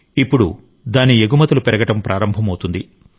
ఇప్పుడు దాని ఎగుమతులు పెరగడం ప్రారంభమవుతుంది